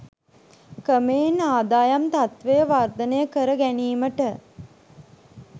ක්‍රමයෙන් ආදායම් තත්ත්වය වර්ධනය කර ගැනීමට